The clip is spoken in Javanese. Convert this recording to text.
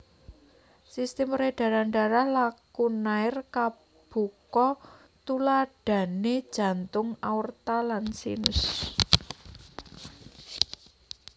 Sistem peredaran darah lakunair kabuka tuladhané jantung aorta lan sinus